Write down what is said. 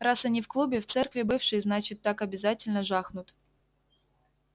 раз они в клубе в церкви бывшей значит так обязательно жахнут